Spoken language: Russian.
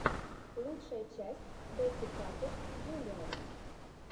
лучшая часть бэтти паппэт джуниор